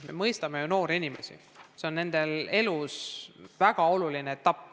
Me mõistame noori inimesi, kooli lõpetamine on nende elus väga oluline sündmus.